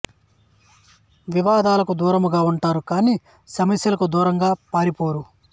వివాదాలకు దూరముగా ఉంటారు కాని సమస్యలకు దూరముగా పారి పోరు